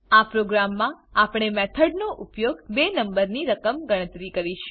આ પ્રોગ્રામમાં આપણે મેથડ નો ઉપયોગ બે નંબર ની રકમ ગણતરી કરીશું